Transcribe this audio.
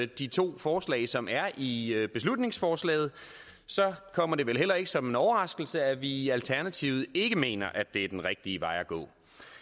de to forslag som er i er i beslutningsforslaget kommer det vel heller ikke som en overraskelse at vi i alternativet ikke mener at det er den rigtige vej at gå